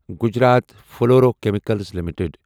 Gujarat fluorochemicals limited